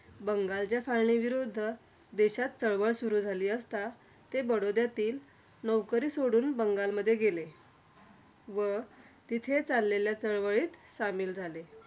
बंगालच्या फाळणीविरुद्ध देशात चळवळ सुरु झाली असता, ते बडोद्यातील नोकरी सोडून बंगालमध्ये गेले. व तिथे चाललेल्या चळवळीत सामील झाले.